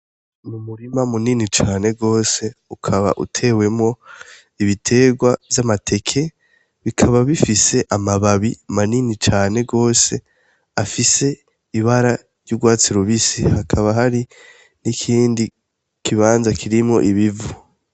Umurima munini cane gose, ukaba utewemwo ibitegwa vy'amateke bikaba bifise amababi manini cane gose afise ibara ry'ugwatsi rubisi hakaba hari n'ikindi kibanza kirimwo ibivu.